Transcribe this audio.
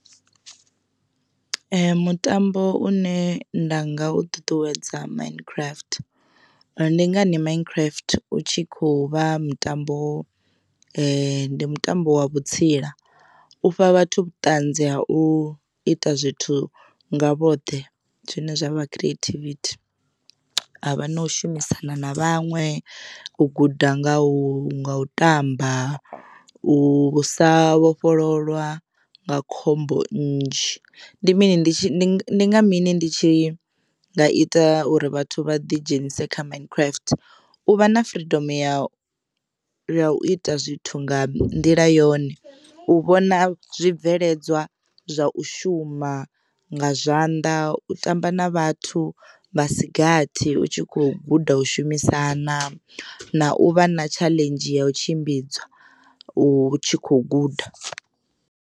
Mutambo une nda nga u ṱuṱuwedza mind craft ndi ngani mind craft u tshi khou vha mutambo ndi mutambo wa vhutsila u fha vhathu vhuṱanzi ha u ita zwithu nga vhoṱhe zwine zwavha creativity. Havha na u shumisana na vhaṅwe u guda nga u nga u tamba u usa vhofhololwa nga khombo nnzhi ndi mini ndi nga mini ndi tshi ndi nga ita uri vhathu vha ḓi dzhenise kha mind craft u vha na freedom ya u ya u ita zwithu nga nḓila yone, u vhona zwibveledzwa zwa u shuma nga zwanḓa u tamba na vhathu vhasi gathi utshi kho guda u shumisana na u vha na tshaḽenzhi ya u tshimbidza u tshi kho guda.